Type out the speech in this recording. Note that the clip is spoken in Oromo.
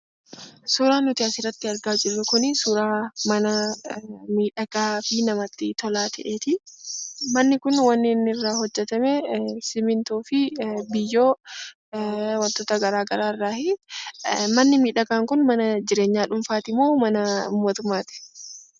Suuraa nuti asirratti argaa jirru kun suuraa mana miidhagaa fi namatti tolaa ta'eeti. Manni kun wanni inni irraa hojjetamee simintoo fi biyyoo wantoota garaagaraa iraayi. Manni miidhagaan kun mana jirreenyaa dhuunfaati moo mana mootummaa ti?